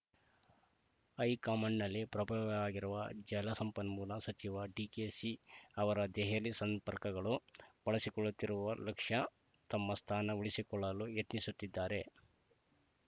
ಹೈಕಮಾಂಡ್‌ನಲ್ಲಿ ಪ್ರಭಾವವಿಯಾಗಿರುವ ಜಲಸಂಪನ್ಮೂಲ ಸಚಿವ ಡಿಕೆಶಿ ಅವರ ದೆಹಲಿ ಸಂಪರ್ಕಗಳನ್ನು ಬಳಸಿಕೊಳ್ಳುತ್ತಿರುವ ಲಕ್ಷ ತಮ್ಮ ಸ್ಥಾನ ಉಳಿಸಿಕೊಳ್ಳಲು ಯತ್ನಿಸುತ್ತಿದ್ದಾರೆ